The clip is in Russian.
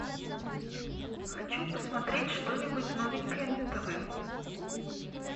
хочу посмотреть что нибудь новенькое на тв